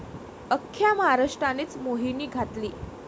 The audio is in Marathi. अख्ख्या महाराष्ट्रानेच मोहिनी घातली.